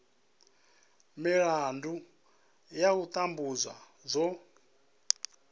milandu ya u tambudzwa dzo